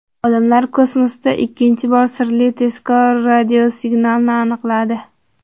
Olimlar kosmosda ikkinchi bor sirli tezkor radiosignalni aniqladi.